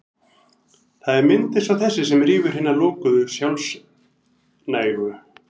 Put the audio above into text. Það er mynd eins og þessi sem rýfur hina lokuðu, sjálfnægu